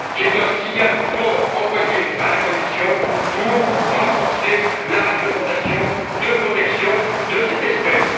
C'est un signal fort envoyé à la Commission pour renforcer la réglementation de protection de cette espèce.